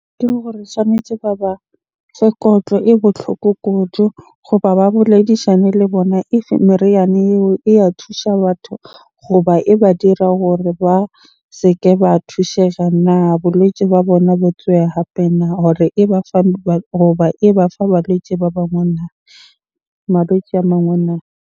Ke gore tshwanetje ba ba fe kotlo e botlhoko kudu goba ba boledishane le bona if meriana eo e ya thusha batho goba e ba dira hore ba se ke ba thusega na? Bolwetse ba bona bo hape na? Hore e ba fa goba e ba fa balwetse ba bangwe na? Malwetse a mangwe na?